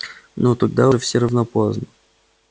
ну тогда уж все равно поздно